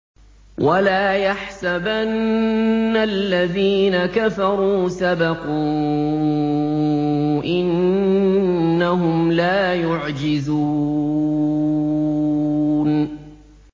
وَلَا يَحْسَبَنَّ الَّذِينَ كَفَرُوا سَبَقُوا ۚ إِنَّهُمْ لَا يُعْجِزُونَ